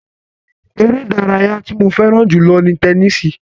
Ere idaraya ti mo fẹran julọ ni tẹnisi